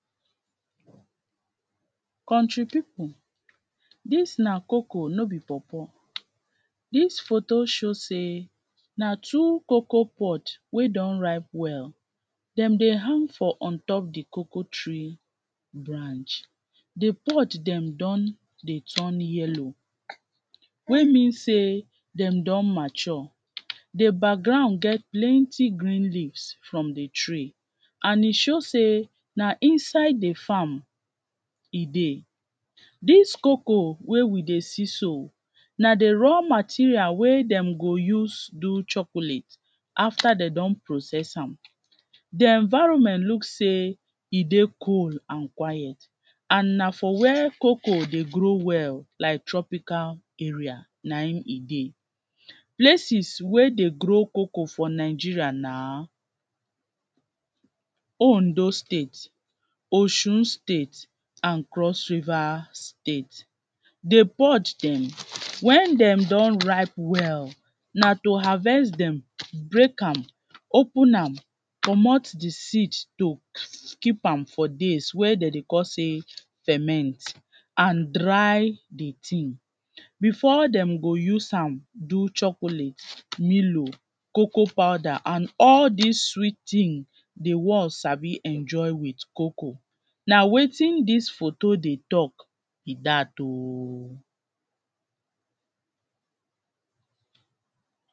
country people, dis na cocoa no be pawpaw. Dis photo show sey na two cocoa pod wey don ripa well, dem dey hang for on top of de coco tree branch. De pod dem don dey turn yellow, wey mean sey dem don mature. De background get plenty green leaves from de tree, and e show sey na inside de farm e dey. Dis cocoa wey we dey see so na de raw material wey dem go use do chocolate afta dey don process am. De environment look sey e dey cool and quiet, and na for where cocoa dey grow well like tropical area na im e dey. Places wey dey grow cocoa for Nigeria na; Ondo State, Osun State and Cross River State. De pod dem, wen dem don ripe well, na to harvest dem, break am, open am comot de seed soak, keep am for days wey dem dey call sey ferment and dry de tin. Before dem go use am do chocolate, milo, cocoa powder and all dis sweet tin, De sabi enjoy wit cocoa, na wetin dis photo dey tok be dat.o